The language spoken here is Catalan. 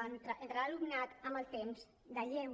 entre l’alumnat amb el temps de lleure